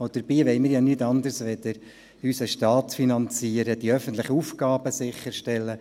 Dabei wollen wir nur unseren Staat finanzieren und die öffentlichen Aufgaben sicherstellen.